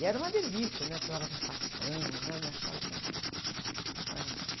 E era uma delícia, né? Precisava de um facão, né? Eu me achava assim, o máximo, eu me achava o máximo.